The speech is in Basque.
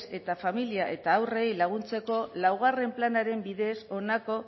eta familia eta haurreri laguntzeko laugarren planaren bidez honako